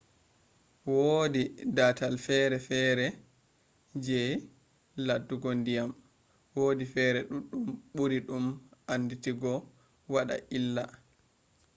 woodi dataal fere fere je laddumgo diyam wodi fere duddum buri dum anditino wada illa